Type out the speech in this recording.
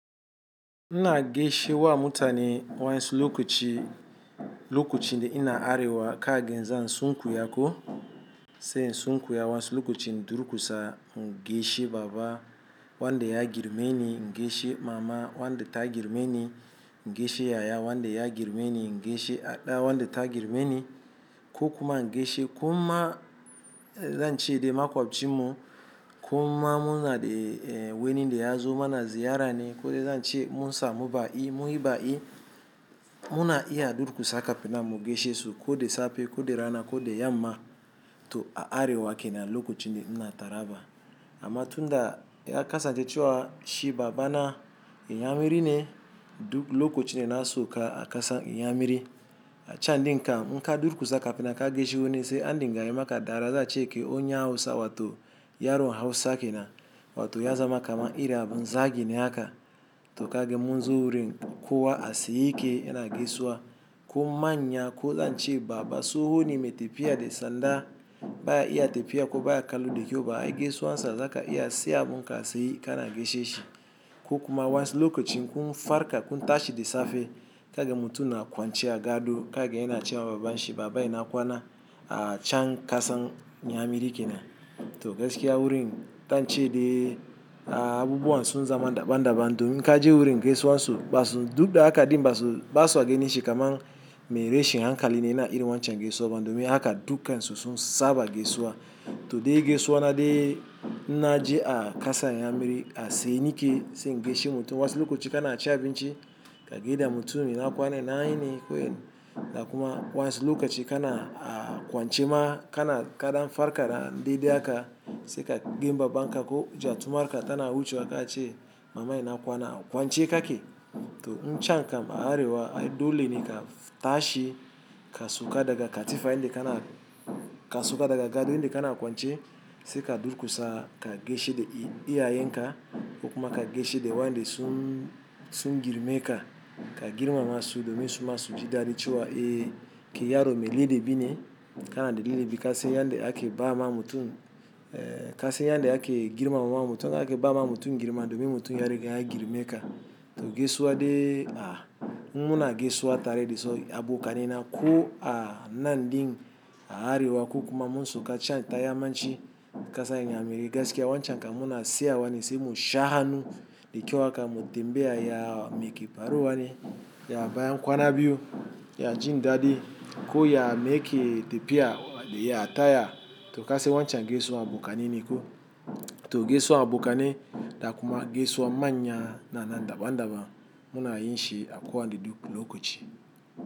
Ina gaishe wa mutane wan'yansu lokaci, lokacin da ina arewa kagan zan sunkuya ko sai in sunku ya wasu lokaci in durƙusa in gaishe baba wanda ya girmeni, ingaishe mama wanda ta girmeni, ingaishe yaya wanda ya girmeni, in gaishe aɗa wanda ta girmeni ko kuma ingaishe kuma zan ce de maƙwabcin mu kuma mu na da wani da ya zo mana ziyarane ko dai zan ce munsa mu ba ƙi, mun yi ba ƙi, mu na iya durƙusa kafinan mu gaishe su ko da safe ko da rana ko da yamma to a arewa ke nan lokachin da ina taraba. Amma tun da ya kasa cewa shi baba na inyamiri ne duk lokacin da na sauka aƙasar inyamiri. A can ɗin kan kam durƙusa kafinan ka gaishe wani se andin gayimaka dariya za a ce kai on ya Hausa wato yaron Hausa ke nan wato ya zamaka man iri abun zagi ne haka to kaga mun zo wurin kowa a tsaye yake yana gaisuwa kuma manya ko zan ce baba tsoho ne mai tafiya da sanda baya iya tefiya ko baya kallo da kyau ba ai gaisuwa sa zaka iya tsaya abun ka tsaye ka na gaishe shi ko kuma waƴansu lokaci kun farka kun tashi da safe kaga mutum na kwance a gado kaga yana ce ma babanshi baba ina kwana a can ƙasan inyamiri ke na to gaskiya wurin zan ce dai abubuwan sun zama daban daban domin inka je wurin gaisuwan su ba su duk da haka ɗin ba su, ba su ganin shi kaman mai rashin hankali ne yana irin wancan gaisuwa ba domin haka dukan su sun saba gaisuwa to dai gaisuwa na dai invna ji a ƙasan inyamiri a tsaye ni ke sai in gaishe mutum wasu lokaci ka na cin abinci kagai da mutum ina kwana ina yini ko en da kuma wasu lokaci ka na a kwance ma ka na kadan farka da dai haka sai ka gan baba nka ko gya tumarka tana wucewa ka ce mama ina kwana kwance ka ke to in can kam a arewa ai dole ne ka tashi ka sauka daga katifa inda ka na, ka sauka daga gado inda ka na kwance se ka durkusa ka gaishe da iya yen ka ko kuma ka gaishe da wa'yanda sun, sun girme ka ka girma masu domin su masu ji daɗi ce wa eh kai yaro mai ladabi ne ka na da lada bi ka san yanda ake ba ma mutum eh ka san yan da ake girmama mutum akan ba ma mutum girma domin mutum ya riga ya girme ka to gaisuwa dai a muna gaisuwa tare da su abo kanaina ko a nan ɗin a arewa ko kuma mun sauka can taya man ci ƙasan inyamiri gaskiya wancan kamuna tsaya wane sai mu shahannu da kyau haka mu tambaya ya meke faru wane ya bayan kwana biyu ya jin daɗi ko ya meyake tafiya ya taya to ka se wancan gesuwa abu kanaine ko to gesuwa abu kanai da kuma gesuwa manya na na daban daban muna yin shi a kuwa de duk lokoci.